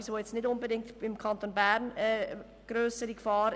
Das betrifft jetzt nicht unbedingt den Kanton Bern als grössere Gefahr.